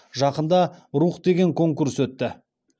жақында рух деген конкурс өтті